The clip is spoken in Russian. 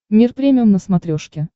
мир премиум на смотрешке